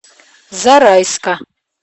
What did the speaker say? зарайска